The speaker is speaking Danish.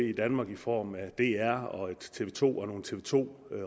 i danmark i form af dr og et tv to og nogle tv to